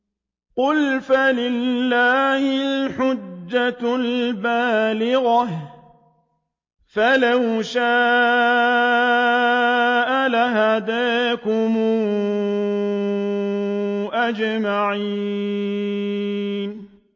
قُلْ فَلِلَّهِ الْحُجَّةُ الْبَالِغَةُ ۖ فَلَوْ شَاءَ لَهَدَاكُمْ أَجْمَعِينَ